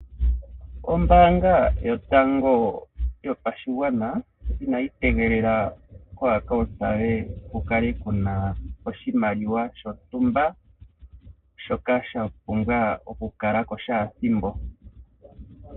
Ombaanga yotango yopashigwana inayi tegelela kokambo koye ku kale kuna oshimaliwa shontumba shoka sha pumbwa oku kala ko shaathimbo.